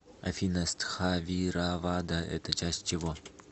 афина стхавиравада это часть чего